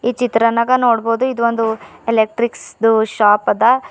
ಚಿತ್ರನಾಗ ನೋಡ್ಬೋದು ಇದು ಒಂದು ಎಲೆಕ್ಟ್ರಿಕ್ಸ್ ದು ಶಾಪ್ ಅದ.